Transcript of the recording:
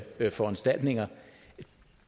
foranstaltninger